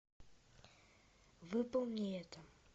выполни это